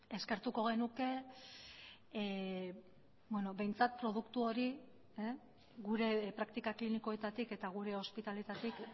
eskertuko genuke behintzat produktu hori gure praktika klinikoetatik eta gure ospitaleetatik